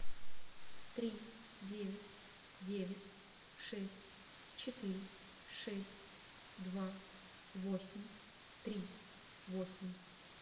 три девять девять шесть четыре шесть два восемь три восемь